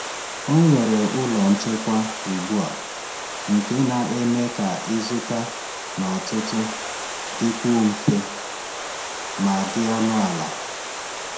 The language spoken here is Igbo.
Ọ nwere ụlọ nchekwa ugbu a, nke na-eme ka ịzụta n’ọtụtù dịkwuo mfe ma dị ọnụ ala.